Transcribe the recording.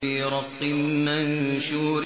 فِي رَقٍّ مَّنشُورٍ